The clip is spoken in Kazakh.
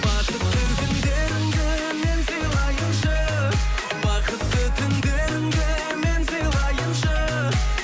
бақытты күндеріңді мен сыйлайыншы бақытты түндеріңді мен сыйлайыншы